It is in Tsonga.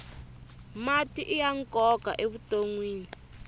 mati iya nkoka evutonwini